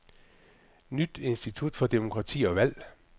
Nyt institut for demokrati og valg.